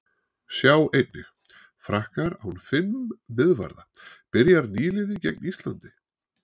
Sjá einnig: Frakkar án fimm miðvarða- Byrjar nýliði gegn Íslandi?